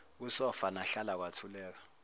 kusofa nahlala kwathuleka